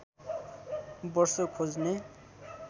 वर्ष खोज्ने